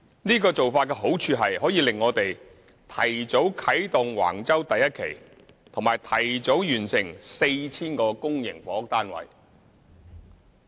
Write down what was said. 這個做法的好處是可令我們提早啟動橫洲第1期，以及提早完成 4,000 個公營房屋單位。